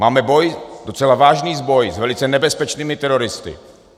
Máme boj, docela vážný boj, s velice nebezpečnými teroristy.